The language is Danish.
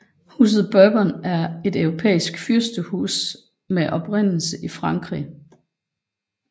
Huset Bourbon er et europæisk fyrstehus med oprindelse i Frankrig